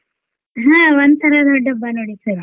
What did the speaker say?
ಹಾ ಒಂತರಾ ದೊಡ್ಡ ಹಬ್ಬ ನೋಡಿ sir .